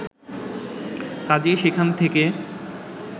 কাজেই সেখান থেকে